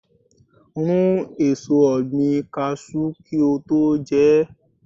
Rún èso ọ̀gbìn Kaṣú kí o tó jẹ ẹ́.